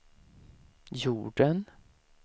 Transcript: jorden